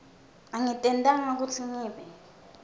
angitentanga kutsi ngibe